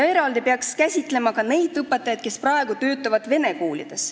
Eraldi peaks käsitlema neid õpetajaid, kes praegu töötavad vene koolides.